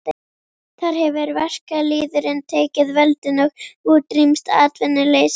Þar hefur verkalýðurinn tekið völdin og útrýmt atvinnuleysi.